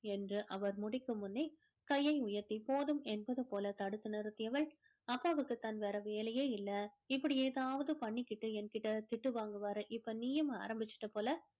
என்று அவர் முடிக்கும் முன்னே கையை உயர்த்தி போதும் என்பது என்பது போல தடுத்து நிறுத்தியவள் அப்பாவுக்கு தான் வேற வேலையே இல்லை இப்படி ஏதாவது பண்ணிகிட்டு என்கிட்ட திட்டு வாங்குவாரு இப்போ நீயும் ஆரம்பிச்சிட்ட போல